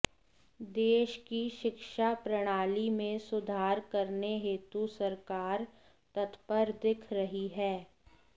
देश की शिक्षा प्रणाली में सुधार करने हेतु सरकार तत्पर दिख रही है